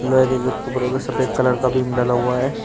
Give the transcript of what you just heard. सफेद कलर का बीम ढाला हुआ है।